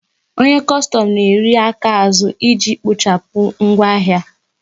Onye kostom na eri aka azụ iji kpochapụ ngwa ahịa